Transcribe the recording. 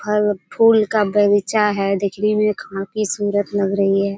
फल-फूल का बगीचा है देखने मे काफी सुंदर लग रही है।